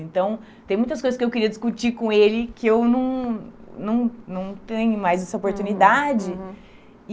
Então, tem muitas coisas que eu queria discutir com ele que eu não não não tenho mais essa oportunidade.